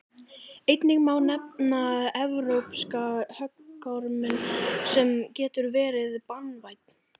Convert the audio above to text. einnig má nefna evrópska höggorminn sem getur verið banvænn